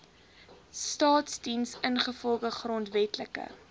staasdiens ingevolge grondwetlike